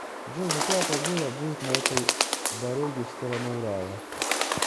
джой какая погода будет на этой дороги в сторону урала